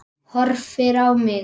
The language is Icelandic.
Horfir á mig.